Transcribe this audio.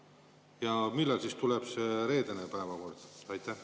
Ja millal siis tuleb see reedene päevakord?